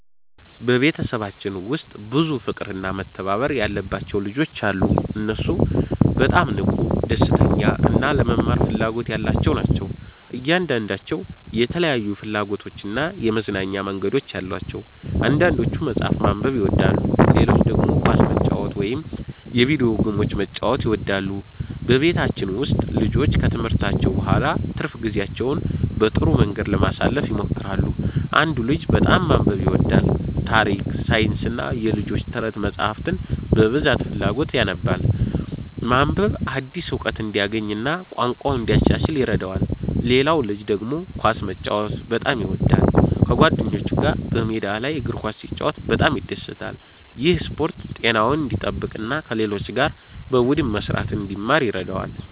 በቤተሰባችን ውስጥ ብዙ ፍቅርና መተባበር ያለባቸው ልጆች አሉ። እነሱ በጣም ንቁ፣ ደስተኛ እና ለመማር ፍላጎት ያላቸው ናቸው። እያንዳንዳቸው የተለያዩ ፍላጎቶችና የመዝናኛ መንገዶች አሏቸው። አንዳንዶቹ መጽሐፍ ማንበብ ይወዳሉ፣ ሌሎቹ ደግሞ ኳስ መጫወት ወይም የቪዲዮ ጌሞችን መጫወት ይወዳሉ። በቤታችን ውስጥ ልጆቹ ከትምህርታቸው በኋላ ትርፍ ጊዜያቸውን በጥሩ መንገድ ለማሳለፍ ይሞክራሉ። አንዱ ልጅ በጣም ማንበብ ይወዳል። ታሪክ፣ ሳይንስና የልጆች ተረት መጻሕፍትን በብዙ ፍላጎት ያነባል። ማንበብ አዲስ እውቀት እንዲያገኝ እና ቋንቋውን እንዲያሻሽል ይረዳዋል። ሌላው ልጅ ደግሞ ኳስ መጫወት በጣም ይወዳል። ከጓደኞቹ ጋር በሜዳ ላይ እግር ኳስ ሲጫወት በጣም ይደሰታል። ይህ ስፖርት ጤናውን እንዲጠብቅ እና ከሌሎች ጋር በቡድን መስራትን እንዲማር ይረዳዋል።